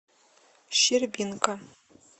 щербинка